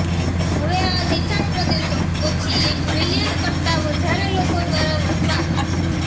હવે આ વિશાળ પ્રદેશો ઓછી એક મિલિયન કરતા વધારે લોકો દ્વારા વસવાટ